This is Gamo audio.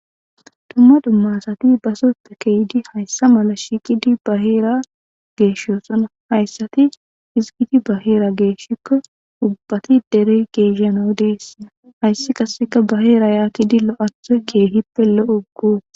Dumma dummasati baso ta keydi hayssa mala shiqidi baheera geeshoosona hayssati hizgidi baheera geeshshikko ubbati dere geeshano deessea hayssi qaseka baheera yaatidi lo'atho keehippe lo'ugut